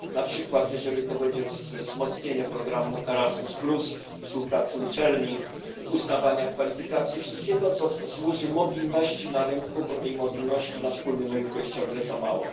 Na przykład, jeżeli to będzie wzmocnienie programu Erasmus, współpracy uczelni, uznawania kwalifikacji, wszystkiego, co służy mobilności na rynku, bo tej mobilności na wspólnym rynku jest ciągle za mało.